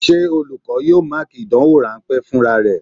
Ṣé olùkọ́ yóò Máàkì ìdánwò rán pé fúnra rẹ?